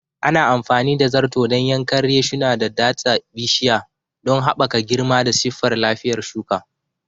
Ana amfani da zarto dan yankan reshuna da datsa bishiya don haɓaka girma da siffar lafiyar shuka.